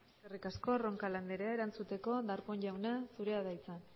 eskerrik asko roncal andrea erantzuteko darpón jauna zurea da hitza